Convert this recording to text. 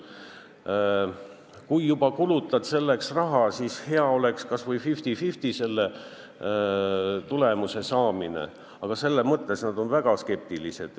Ja kui juba kulutad selleks raha, siis hea oleks, et tulemuse saamise tõenäosus oleks kas või 50 : 50, aga selles mõttes nad on väga skeptilised.